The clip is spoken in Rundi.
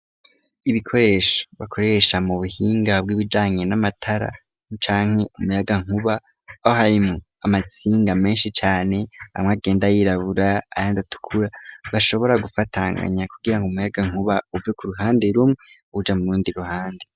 Ibikoresho bakoresha mu buhinga bw'ibijanye n'amatara nucanke umuyaga nkuba ohaim amatsinga menshi cane bamwagenda yirabura ayandi atukura bashobora gufatanganya kugira ngo umuyaga nkuba uve ku ruhande rumwe uja mu rundi ruhande.